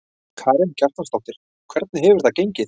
Karen Kjartansdóttir: Hvernig hefur það gengið?